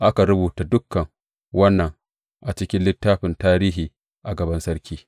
Aka rubuta dukan wannan a cikin littafin tarihi a gaban sarki.